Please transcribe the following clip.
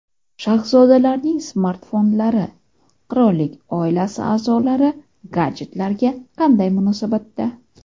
Shahzodalarning smartfonlari: Qirollik oilasi a’zolari gadjetlarga qanday munosabatda?